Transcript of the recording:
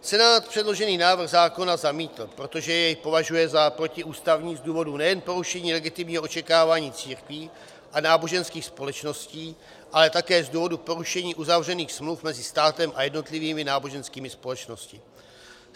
Senát předložený návrh zákona zamítl, protože jej považuje za protiústavní z důvodu nejen porušení legitimního očekávání církvi a náboženských společností, ale také z důvodu porušení uzavřených smluv mezi státem a jednotlivými náboženskými společnostmi.